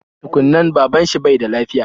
Tukun nan, baban shi bai da lafiya